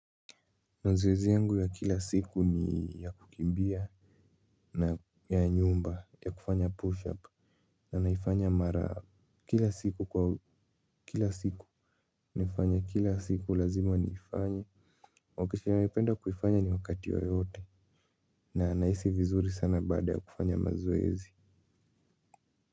Mazoezi yangu ya kila siku ni ya kukimbia na ya nyumba ya kufanya push up na naifanya mara kila siku kwa kila siku nifanya kila siku lazima niifanye wakisha ya maipenda kufanya ni wakati yoyote na nahisi vizuri sana baada ya kufanya maziezi.